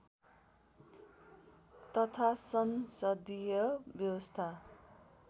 तथा संसदीय व्यवस्था